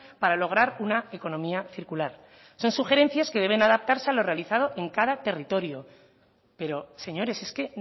para lograr una economía circular son sugerencias que deben adaptarse a lo realizado en cada territorio pero señores es que